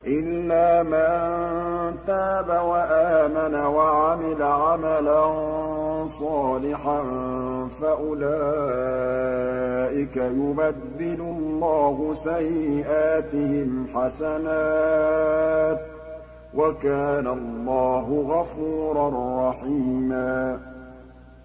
إِلَّا مَن تَابَ وَآمَنَ وَعَمِلَ عَمَلًا صَالِحًا فَأُولَٰئِكَ يُبَدِّلُ اللَّهُ سَيِّئَاتِهِمْ حَسَنَاتٍ ۗ وَكَانَ اللَّهُ غَفُورًا رَّحِيمًا